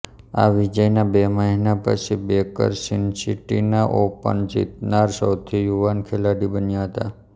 આ વિજયના બે મહિના પછી બેકર સિનસિનાટી ઓપન જીતનાર સૌથી યુવાન ખેલાડી બન્યા હતા